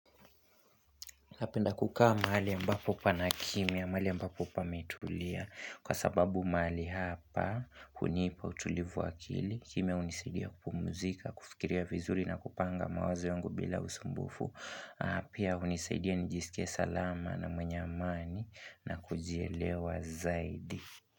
Napenda kukaa mahali ambapo pana kimya, mahali ambapo pametulia kwa sababu mahali hapa, hunipa utulivu wa akili kimya hunisaidia kupumuzika, kufikiria vizuri na kupanga mawazo yangu bila usumbufu na pia hunisaidia nijiskie salama na mwenye amani na kujielewa zaidi.